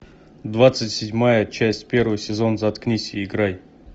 двадцать седьмая часть первый сезон заткнись и играй